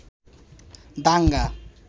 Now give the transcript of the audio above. দাঙ্গা